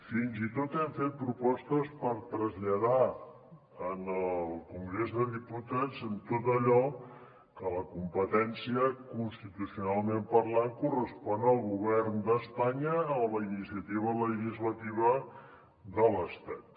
fins i tot hem fet propostes per traslladar al congrés de diputats tot allò que la competència constitucionalment parlant correspon al govern d’espanya o a la iniciativa legislativa de l’estat